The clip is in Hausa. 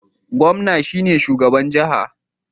Gomna shine shugaban jaha